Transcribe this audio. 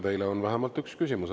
Teile on vähemalt üks küsimus.